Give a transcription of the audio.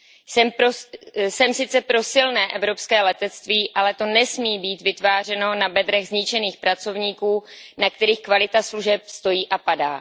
Jsem sice pro silné evropské letectví, ale to nesmí být vytvářeno na bedrech zničených pracovníků, na kterých kvalita služeb stojí a padá.